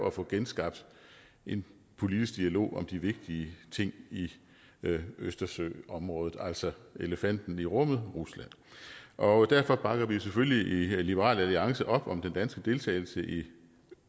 at få genskabt en politisk dialog om de vigtige ting i østersøområdet altså elefanten i rummet rusland og derfor bakker vi selvfølgelig i liberal alliance op om den danske deltagelse i